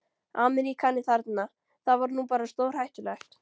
Ameríkani þarna, það var nú bara stórhættulegt.